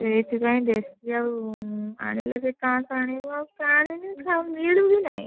ସେଥିପାଇଁ ଦେଶୀ ଆଉ ଆଣିଲେ ସେଇ ପାଁଶ ଆଣିବୁ ଆଉ ଆଣିକି ମିଳୁ ହିଁ ନାହିଁ।